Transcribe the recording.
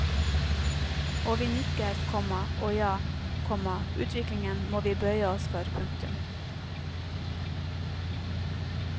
Og vi nikker, komma å ja, komma utviklingen må vi bøye oss for. punktum